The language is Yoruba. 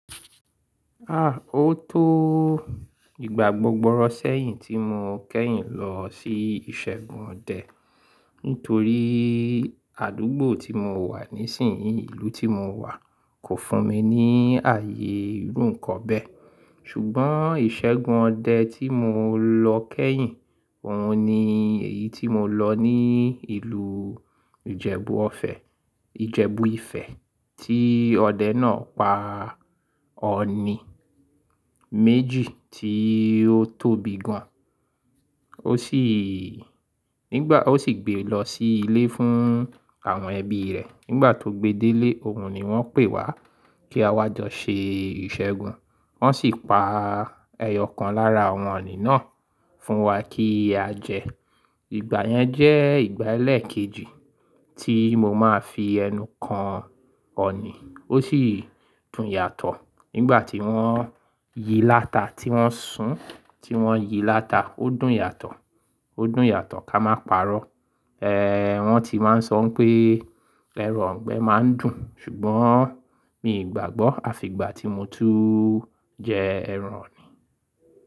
Ah! Ó tó ìgbà gbogborọ̀ sẹ́yìn tí mo kẹ́yìn lọ sí ìṣẹ́gun ọdẹ. Nítorí àdúgbò tí mo wà nísinyìí, ìlú tí mo wà kò fún mi ní ààyè irun kan bẹ́ẹ̀. Ṣùgbọ́n ìṣẹ́gun ọdẹ tí mo lọ kẹ́yìn, òun ni èyí tí mo lọ ní ìlú Ìjẹ̀bú ọ̀fẹ́, Ìjẹ̀bú Ifẹ̀ tí ọdẹ náà pa ọ̀ọ̀nì méjì tí ó tóbi gan. Ó sì, nígbà ó sì gbé lọ sí ilé fún àwọn ẹbí rẹ̀. Nígbà tó gbe dé lé, òun ni wọ́n pè wá kí a wá jọ ṣe ìṣẹ́gun. Wọ́n sì pa ẹyọ kan lára àwọn ọ̀ọ̀nì náà fún wa kí á jẹ. Ìgbà yẹn jẹ́ ìgbà ẹlẹ́ẹ̀kejì tí mo máa fi ẹnu kan ọ̀ọ̀nì, ó sì dùn yàtọ̀. Nígbà tí wọ́n yí láta tí wọ́n sùn, tí wọ́n yí láta, ó dùn yàtọ̀, ó dùn yàtọ̀ ká máa pa'rọ́. Eh! Wọ́n ti máa ń sọ pé ẹran ọ̀gbẹ́ máa ń dùn. Ṣùgbọ́n mi ò gbàgbọ́, àfi ìgbà tí mo tún jẹ ẹran ọ̀ọ̀nì.